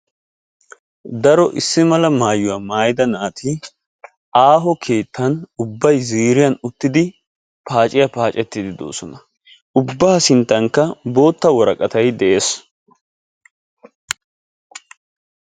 Daro issi mala maayuwa maayida naati aaho keettan ubbay ziiriyan uttidi paacciya paaccettidi doosona. Ubbaa sinttankka bootta woraqqatay de'ees.